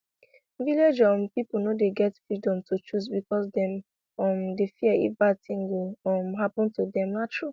village um people no dey get freedom to choose because dem um dey fear if bad thing go um happen to them na true